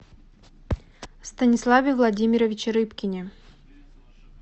станиславе владимировиче рыбкине